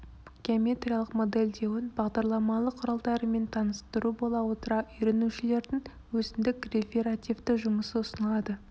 геометриялық модельдеуін бағдарламалық құралдарымен таныстыру бола отыра үйренушілердің өзіндік реферативті жұмысы ұсынылады